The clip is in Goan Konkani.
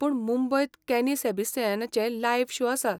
पूण मुंबयत कॅनी सॅबिस्तियनाचो लायव्ह शो आसा.